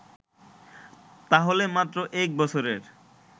তাহলে মাত্র এক বছরের